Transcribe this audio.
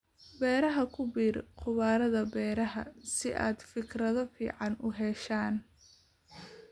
Beeraha Ku biir khubarada beeraha si aad fikrado fiican u heshaan.